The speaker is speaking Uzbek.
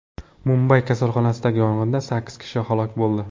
Mumbay kasalxonasidagi yong‘inda sakkiz kishi halok bo‘ldi.